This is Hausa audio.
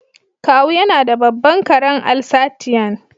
Kawu yana da babban karen Alsatian.